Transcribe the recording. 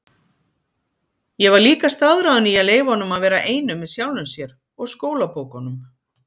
Ég var líka staðráðin í að leyfa honum að vera einum með sjálfum sér-og skólabókunum.